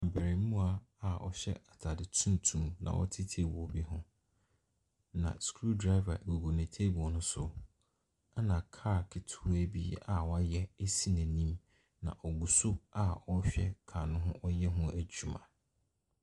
Abarimaa a ɔhyɛ atade tuntum na ɔte table bi ho, na screw driver gugu ne table no so, ɛna car ketewa bi a wayɛ si n'anim. Na ɔgu so a ɔrehwɛ car no ho adwuma.